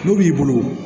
N'u b'i bolo